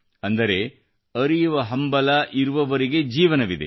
ಅಂದರೆ ಅರಿಯುವ ಹಂಬಲ ಇರುವವರೆಗೆ ಜೀವನವಿದೆ